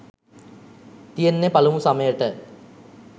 තියෙන්නෙ පලමු සමයට